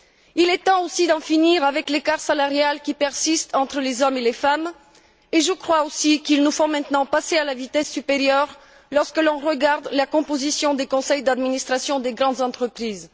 Il est temps aussi d'en finir avec l'écart salarial qui persiste entre les hommes et les femmes et je crois également qu'il nous faut maintenant passer à la vitesse supérieure lorsque l'on regarde la composition des conseils d'administration des grandes entreprises.